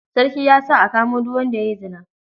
Sarki ya sa a kamo duk wanda ya yi zina.